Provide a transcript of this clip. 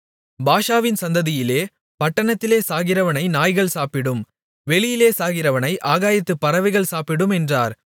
பாஷாவின் சந்ததியிலே பட்டணத்திலே சாகிறவனை நாய்கள் சாப்பிடும் வெளியிலே சாகிறவனை ஆகாயத்துப் பறவைகள் சாப்பிடும் என்றார்